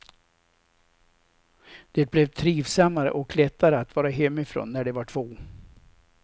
Det blev trivsammare och lättare att vara hemifrån, när de var två.